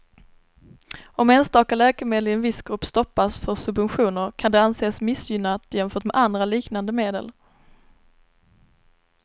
Om enstaka läkemedel i en viss grupp stoppas för subventioner kan det anses missgynnat jämfört med andra liknande medel.